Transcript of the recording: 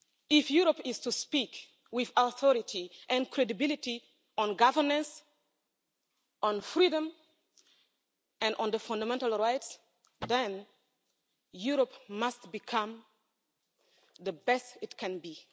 If Europe is to speak with authority and credibility on governance, on freedom and on the fundamental rights, then Europe must become the best it can be.